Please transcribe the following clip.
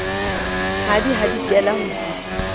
a di hadikela ho di